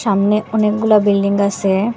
সামনে অনেকগুলা বিল্ডিং আসে।